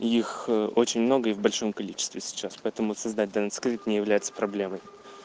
их очень много и в большом количестве сейчас поэтому создать донат скрит не является проблемой